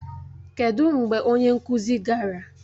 Kedụ mgbe onye nkụzi gara?